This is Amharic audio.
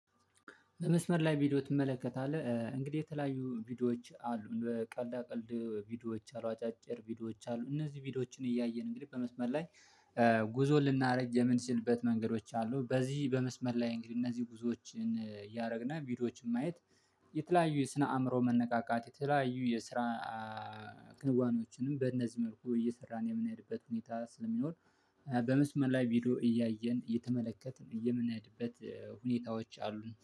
በመስመር ላይ ቪዲዮ ትመለከታለህ? እንግዲህ የተለያዩ ቪዲዮዎች አሉን በቀልዳ ቀልድ ቪዲዮዎች አሉ አጫጭር ቪዲዮዎች አሉ እነዚህ ቪዲዮዎችን እያየን እንግዲህ በመስመር ላይ። ጉዞ ልናረግ የምንችልበት መንገዶች አሉ በዚህ በመስመር ላይ እንግዲህ እነዚህ ጉዞዎችን እያረግነ ቪዲዮዎችን ማየት። የተለያዩ የስነ አእምሮ መነቃቃት የተለያዩ የስራ ክንዋኔዎችንም በእነዚህ መልኩ እየሰራን የምንሄድበት ሁኔታ ስለሚኖር። በመስመር ላይ ቪዲዮ እያየን እየተመለከትን እየምንሄድበት ሁኔታዎች አሉን